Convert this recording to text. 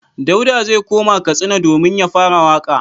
Dauda zai koma Katsina domin ya fara waƙa.